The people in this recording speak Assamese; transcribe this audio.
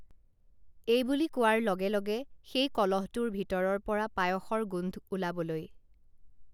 এইবুলি কোৱাৰ লগে লগে সেই কলহটোৰ ভিতৰৰপৰা পায়সৰ গোন্ধ ওলাবলৈ